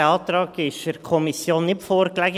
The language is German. Dieser Antrag lag der Kommission nicht vor.